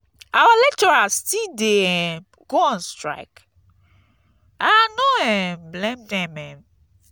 our lecturers still dey um go on strike? i um no blame dem um